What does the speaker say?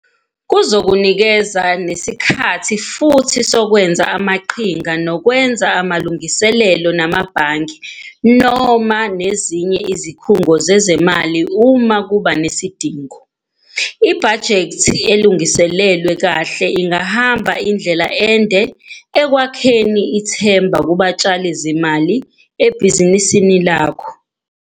Kuzokunika nesikhathi futhi sokwenza amaqhinga nokwenza amalungiselelo namabhange noma nezinye izikhungo zezimali uma kuba nesidingo. Ibhajethi elungiselelwe kahle ingahamba indlela ende ekwakheni ithemba kubatshali-zimali ebhizinisini lakho.